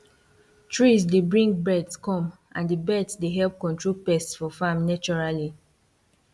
trees dey bring birds come and the birds dey help control pests for farm naturally